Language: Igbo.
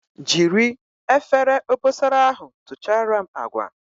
Jiri Efere obosara ahu tuchara m agwa